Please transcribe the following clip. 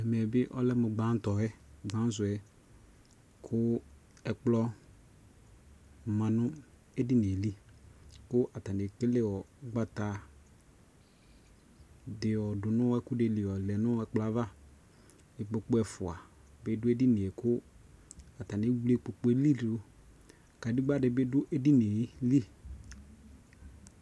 Ɛmɛ bi ɔlɛ mu gban tɔ yɛ, gban su yɛKu ɛkplɔ ma nu ɛdini yɛ li, ku atani ɛkele ugbata di yɔ du nu ɛkuɛdi li yɔ lɛ nu ɛkplɔ avaIkpoku ɛfua bi du ɛdini yɛ ku ata ni ɛwle ikpoku li duK adegba di bi du ɛdini yɛ li